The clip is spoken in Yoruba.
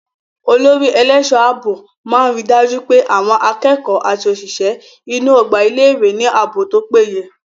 Olórí ẹlẹ́ṣọ̀ ààbò máa ríi dájú pé àwọn akẹ́kọ̀ọ́ àti òṣìṣẹ́ inú ọgbà ilé ìwé ní ààbò tó péye.